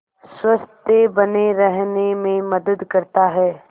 स्वस्थ्य बने रहने में मदद करता है